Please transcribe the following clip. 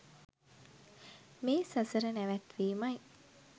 මේ සසර නැවැත්වීමයි